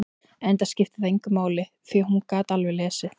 Enda skipti það engu máli, því að hún gat alveg lesið.